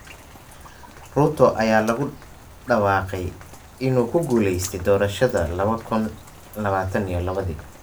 Ruto ayaa lagu dhawaaqay inuu ku guuleystay doorashada lawada kuun lawatan iyo lawodii.